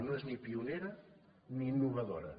no és ni pionera ni innovadora